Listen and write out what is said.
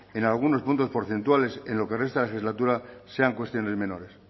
en algunos puntos porcentuales en lo que resta de legislatura sean cuestiones menores